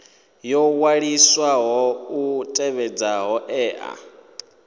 yo waliswaho i tevhedze hoea